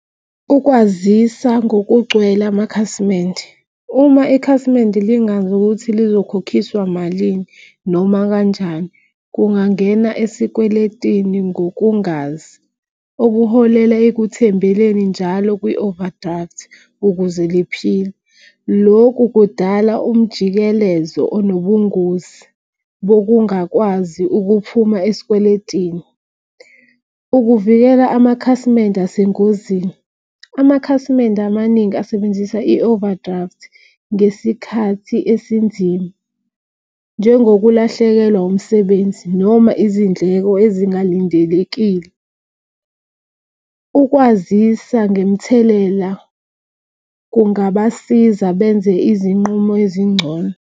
Ukwazisa ngokugcwele amakhasimende uma ikhasimende lingazi ukuthi lizokhokhiswa malini noma kanjani. Kungangena esikweletini ngokungazi okuholela ekuthembeleni njalo kwi-overdraft ukuze liphile. Lokhu kudala umjikelezo anobungozi bokungakwazi ukuphuma esikweletini. Ukuvikela amakhasimende asengozini amakhasimende amaningi asebenzisa i-overdraft ngesikhathi esinzima. Njengokulahlekelwa umsebenzi noma izindleko ezingalindelekile. Ukwazisa ngemithelela kungabasiza benze izinqumo ezingcono.